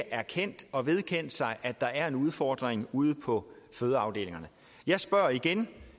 erkendt og vedkendt sig at der er en udfordring ude på fødeafdelingerne jeg spørger igen